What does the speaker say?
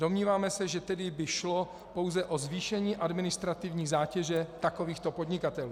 Domníváme se, že tedy by šlo pouze o zvýšení administrativní zátěže takovýchto podnikatelů.